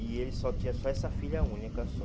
E ele só tinha só essa filha única, só.